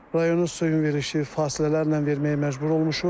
Rayonun suyun verilişi fasilələrlə verməyə məcbur olmuşuq.